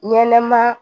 Ɲɛnɛma